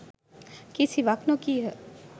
කිසිවක් නොකීහ